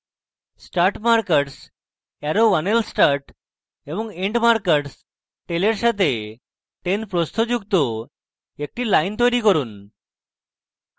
start markers arrow1lstart এবং end markers tail এর সাথে 10 প্রস্থ যুক্ত একটি line তৈরী করুন